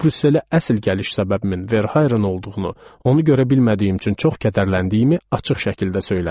Brüsselə əsl gəliş səbəbimin Verhayren olduğunu, onu görə bilmədiyim üçün çox kədərləndiyimi açıq şəkildə söylədim.